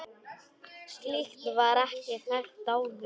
Slíkt var ekki hægt áður.